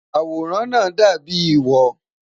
Awòràn naa dàbíi wọ̀.